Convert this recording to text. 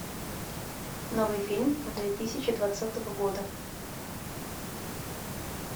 новый фильм две тысячи двадцатого года